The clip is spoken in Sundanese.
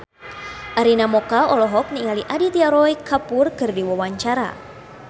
Arina Mocca olohok ningali Aditya Roy Kapoor keur diwawancara